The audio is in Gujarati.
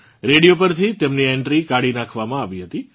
રેડિયો પરથી તેમની એન્ટ્રી કાઢી નાખવામાં આવી હતી